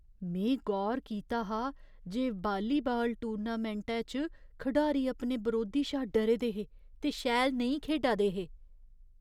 में गौर कीता हा जे वालीबाल टूर्नामैंटै च खडारी अपने बरोधी शा डरे दे हे ते शैल नेईं खेढा दे हे।